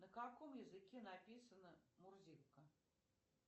на каком языке написана мурзилка